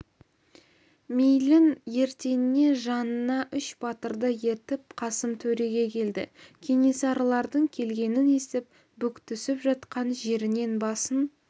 мейлің ертеңіне жанына үш батырды ертіп қасым төреге келді кенесарылардың келгенін естіп бүктүсіп жатқан жерінен басын